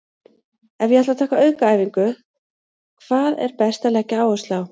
Ef ég ætla að taka aukaæfingu, hvað er best að leggja áherslu á?